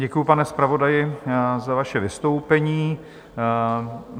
Děkuji, pane zpravodaji za vaše vystoupení.